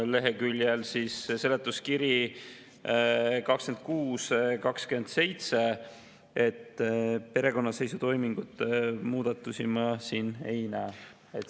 Seletuskirja leheküljed 26 ja 27, perekonnaseisutoimingute muudatusi ma siin ei näe.